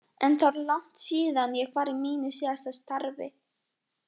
En það er langt síðan ég var í mínu síðasta starfi.